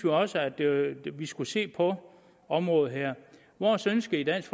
også at vi skulle se på området her vores ønske i dansk